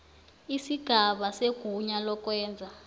isigaba segunya lokwenza